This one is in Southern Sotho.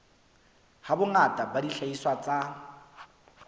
ha bongata ba dihlahiswa tsa